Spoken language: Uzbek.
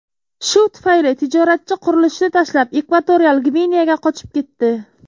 Shu tufayli tijoratchi qurilishni tashlab, Ekvatorial Gvineyaga qochib ketdi.